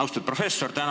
Austatud professor!